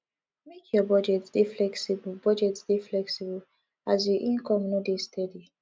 make your budget dey flexible budget dey flexible as you income no dey steady